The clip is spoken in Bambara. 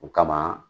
O kama